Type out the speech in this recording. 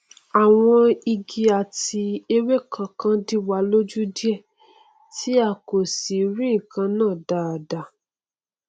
àwọn igi àti ewéko kan díwa lójú díẹ tí a kò sì rí nkan náà dáadáa